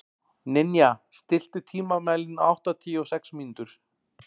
Ninja, stilltu tímamælinn á áttatíu og sex mínútur.